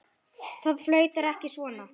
Það flautar ekki svona.